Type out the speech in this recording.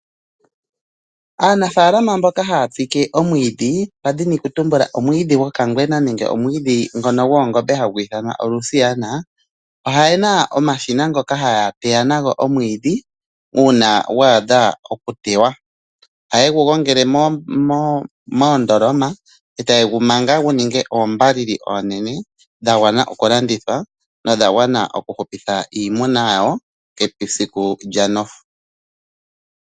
Aanafaalama mboka haya tsike omwiidhi, twadhini kutumbula omwiidhi gwokangwena nenge omwiidhi goongombe ngono hagu ithanwa olusiyana, oye na omashina ngoka haga teya omwiidhi uuna gwa adha okuteywa. Ohaye gu gongele moondoloma e taye gu manga gu ninge oombalili oonene dha gwana oku landithwa nodha gwana oku hupitha iimuna yawo esiku lyanofu.